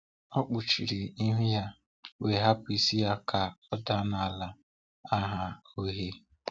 O kpuchiri ihu ya, wee hapu isi ya ka o daa n'ala aha uhie.